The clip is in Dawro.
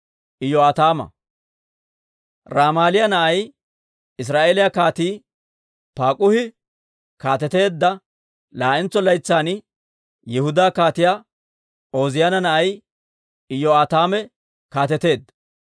Ramaaliyaa na'ay, Israa'eeliyaa Kaatii Paak'uhi kaateteedda laa'entso laytsan, Yihudaa Kaatiyaa Ooziyaana na'ay Iyo'aataame kaateteedda.